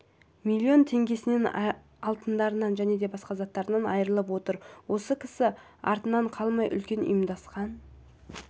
миллион теңгесінен алтындарынан және басқа да заттарынан айырылып отыр осы кісі артынан қалмай үлкен ұйымдасқан